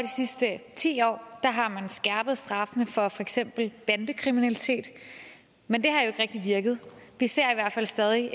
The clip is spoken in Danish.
sidste ti år har man skærpet straffene for for eksempel bandekriminalitet men det har ikke rigtig virket vi ser i hvert fald stadig